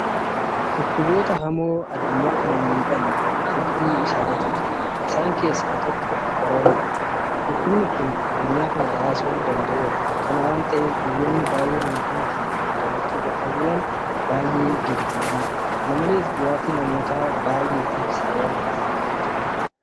Dhukkuboota hamoo addunyaa kana miidhan hedduu isaaniitu jira. Isaan keessaa tokko Koronaadha. Dhukkubni kun addunyaa kana raasuu danda'eera. Kana waanta ta'eef biyyoonni baay'een miidhama kana damdamachuu dadhabuudhaan baay'ee gadi bu'aniiru. kana malees du'aatii namoota baay'eetiif sababa ta'eera.